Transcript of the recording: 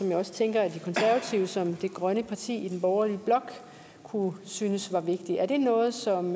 jeg også tænker at de konservative som det grønne parti i den borgerlige blok kunne synes var vigtigt er det noget som